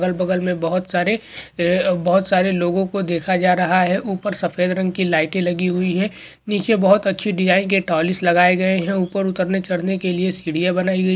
अगल बगल में बहुत सारे बहुत सारे लोगों को देखा जा रहा है ऊपर सफेद रंग की लाइट लगी हुई है नीचे बहुत अच्छी डिजाइन के तालीस लगाए गए हैं ऊपर उतरने चढ़ने के लिए सीढ़ियां बनाई गई --